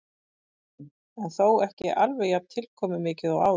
Kristján: En þó ekki alveg jafn tilkomumikið og áður?